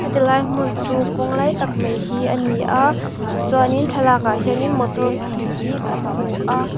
heti lai hmun chu kawng lai tak mai hi ani a tichuanin thlalak ah hianin motor pahnih hi kan hmu a.